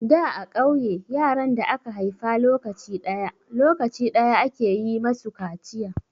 Da a ƙauye, yaran da aka haifa lokaci ɗaya, lokaci ɗaya ake yi masu kaciya.